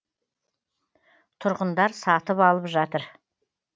тұрғындар сатып алып жатыр